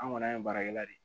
An kɔni an ye baarakɛla de ye